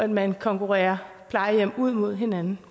man konkurrerer plejehjem ud mod hinanden